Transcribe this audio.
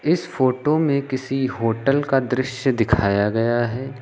इस फोटो में किसी होटल का दृश्य दिखाया गया है।